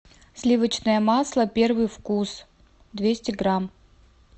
сливочное масло первый вкус двести грамм